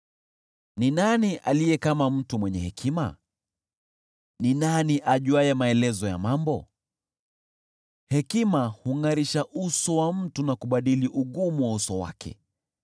Ni nani aliye kama mtu mwenye hekima? Ni nani ajuaye maelezo ya mambo? Hekima hungʼarisha uso wa mtu na kubadili ugumu wa uso wake.